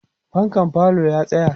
fankan falo ya tsaya